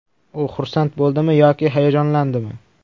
U xursand bo‘ldimi yoki hayajonlandimi?